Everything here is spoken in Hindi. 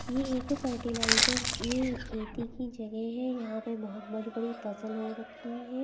ये एक फर्टिलाइजर यह एक खेती की जगह है यहां पे बहुत बड़ी-बड़ी फसल हो रखी हैं।